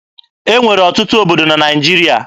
E nwere ọtụtụ obodo na Naịjirịa.